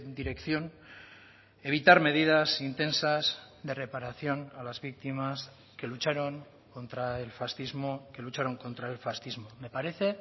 dirección evitar medidas intensas de reparación a las víctimas que lucharon contra el fascismo que lucharon contra el fascismo me parece